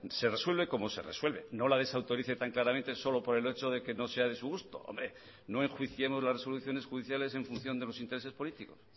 se resuelve como se resuelve no la desautorice tan claramente solo por el hecho de que no sea de su gusto hombre no enjuiciemos las resoluciones judiciales en función de los intereses políticos